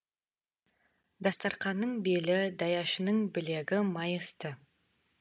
дастарқанның белі даяшының білегі майысты